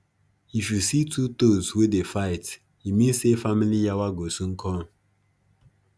if you see two toads wey dey fight e mean say family yawa go soon come